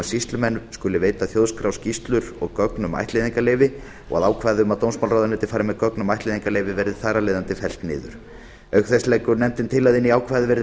sýslumenn skuli veita þjóðskrá skýrslur og gögn um ættleiðingarleyfi og ákvæði um að dómsmálaráðuneytið fari með ögn um ættleiðingarleyfi verði þar af leiðandi fellt niður auk þess leggur nefndin til að inn í ákvæðið verði